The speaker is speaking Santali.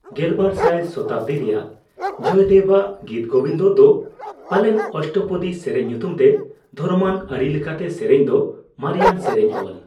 ᱜᱮᱞᱵᱟᱨ ᱥᱟᱭ ᱥᱚᱛᱟᱵᱫᱤ ᱨᱮᱭᱟᱜ ᱡᱚᱭᱫᱮᱵᱽᱟᱜ ᱜᱤᱛᱜᱳᱵᱤᱱᱫᱚ ᱫᱚ ᱯᱟᱞᱮᱱ ᱚᱥᱴᱚᱯᱚᱫᱤ ᱥᱮᱨᱮᱧ ᱧᱩᱛᱩᱢᱛᱮ ᱫᱚᱨᱚᱢᱟᱱ ᱟᱹᱨᱤ ᱞᱮᱠᱟᱛᱮ ᱥᱮᱨᱮᱧ ᱫᱚ ᱢᱟᱨᱮᱭᱟᱱ ᱥᱮᱨᱮᱧ ᱚᱞ ᱾